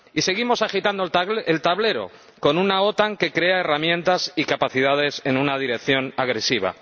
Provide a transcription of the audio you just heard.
Y seguimos agitando el tablero, con una OTAN que crea herramientas y capacidades en una dirección agresiva.